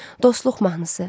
Dostluq mahnısı.